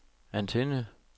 antenne